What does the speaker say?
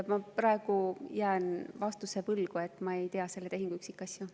Ma jään praegu vastuse võlgu, ma ei tea selle tehingu üksikasju.